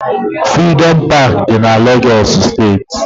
Frịdọm Pááki dị na Lagos steeti